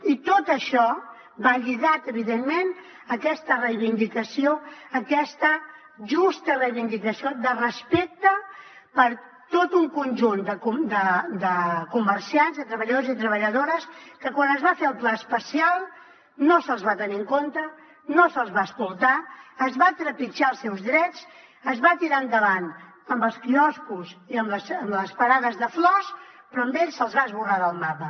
i tot això va lligat evidentment a aquesta reivindicació aquesta justa reivindicació de respecte per tot un conjunt de comerciants de treballadors i treballadores que quan es va fer el pla especial no se’ls va tenir en compte no se’ls va escoltar es van trepitjar els seus drets es va tirar endavant amb els quioscos i amb les parades de flors però a ells se’ls va esborrar del mapa